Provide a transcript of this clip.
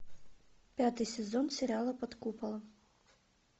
пятый сезон сериала под куполом